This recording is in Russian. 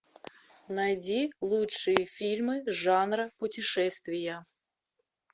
найди лучшие фильмы жанра путешествия